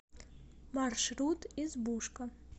маршрут избушка